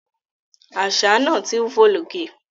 Àṣà náà ti ń fò lókè